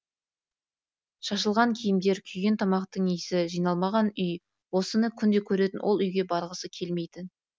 шашылған киімдер күйген тамақтың иісі жиналмаған үй осыны күнде көретін ол үйге барғысы келмейтін